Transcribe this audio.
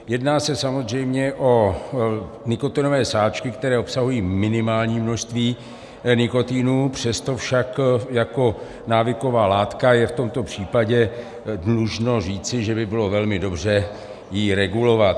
Jedná se samozřejmě o nikotinové sáčky, které obsahují minimální množství nikotinu, přesto však jako návyková látka je v tomto případě dlužno říci, že by bylo velmi dobře ji regulovat.